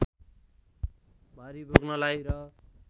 भारी बोक्नलाई र